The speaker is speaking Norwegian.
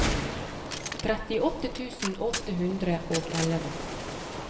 trettiåtte tusen åtte hundre og elleve